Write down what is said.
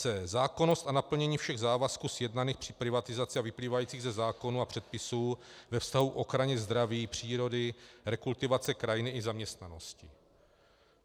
c) Zákonnost a naplnění všech závazků sjednaných při privatizaci a vyplývajících ze zákonů a předpisů ve vztahu k ochraně zdraví, přírody, rekultivace krajiny i zaměstnanosti.